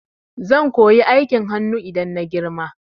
Zan koyi aikin hanu idan na girma